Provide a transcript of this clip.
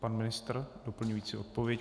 Pan ministr doplňující odpověď.